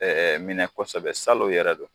minɛ kosɛbɛ salon yɛrɛ don